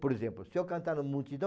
Por exemplo, se eu cantar na multidão,